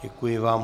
Děkuji vám.